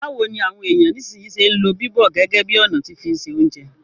Báwoni àwon èyàn nisínsìnyi se n lo bíbọ̀ gẹ́gẹ́ bi ọ̀nà ti fi n se ounjẹ